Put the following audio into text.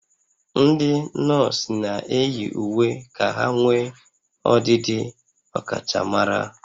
Ndị nọọsụ na-eyi uwe ka ha nwee ọdịdị ọkachamara